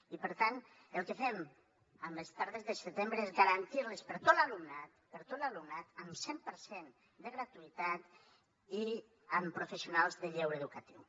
i per tant el que fem amb les tardes de setembre és garantir les per a tot l’alumnat per a tot l’alumnat amb cent per cent de gratuïtat i amb professionals de lleure educatiu